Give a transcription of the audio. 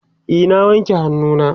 e na wanke hannu na